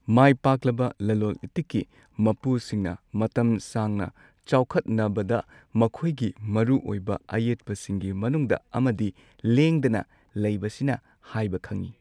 ꯃꯥꯏ ꯄꯥꯛꯂꯕ ꯂꯂꯣꯟ ꯏꯇꯤꯛꯀꯤ ꯃꯄꯨꯁꯤꯡꯅ ꯃꯇꯝ ꯁꯥꯡꯅ ꯆꯥꯎꯈꯠꯅꯕꯗ ꯃꯈꯣꯏꯒꯤ ꯃꯔꯨꯑꯣꯏꯕ ꯑꯌꯦꯠꯄꯁꯤꯡꯒꯤ ꯃꯅꯨꯡꯗ ꯑꯃꯗꯤ ꯂꯦꯡꯗꯅ ꯂꯩꯕꯁꯤꯅ ꯍꯥꯏꯕ ꯈꯪꯏ꯫